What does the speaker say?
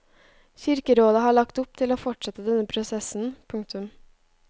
Kirkerådet har lagt opp til å fortsette denne prosessen. punktum